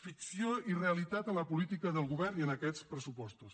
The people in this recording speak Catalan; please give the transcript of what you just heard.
ficció i realitat a la política del govern i en aquests pressupostos